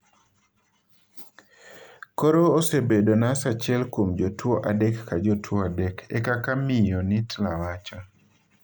Koro osebedo nas achiel kuom jotuwo adek ka jotuwo adek,'' e kaka Miyo Nittla wacho.